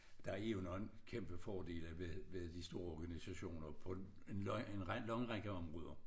Der er jo nogen kæmpe fordele ved ved de store organisationer på en lang række områder